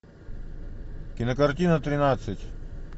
кинокартина тринадцать